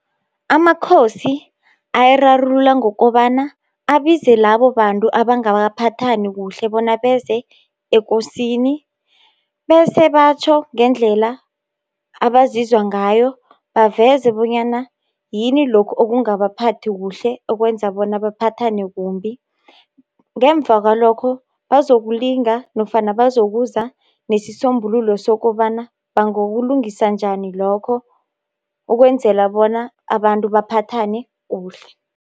Amakhosi, ayirarulula ngokobana abize labo bantu abangakaphathani kuhle, bona beze ekosini, bese batjho ngendlela abazizwa ngayo. Baveze bonyana yini lokhu okungabaphathi kuhle, okwenza bona baphathane kumbi. Ngemva kwalokho bazokulinga nofana bazokuza nesisombululo sokobana bangokulungisa njani lokho, ukwenzela bona abantu baphathane kuhle.